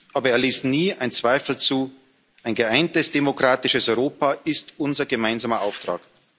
Aber er ließ nie einen Zweifel zu Ein geeintes demokratisches Europa ist unser gemeinsamer Auftrag.